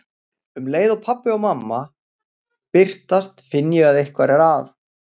Um leið og pabbi og mamma birtast finn ég að eitthvað er að.